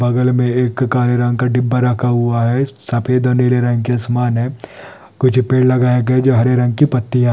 बगल मे काले रंग का डिब्बा रखा हुआ है सफ़ेद और नीले रंग के आसमान है कुछ पेड़ लगाया गया जो हरे रंग हुआ है|